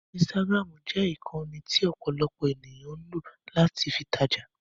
Instagram jẹ ìkànnì tí ọ̀pọ̀lọpọ̀ ènìyàn ń lọ̀ láti fi tajà.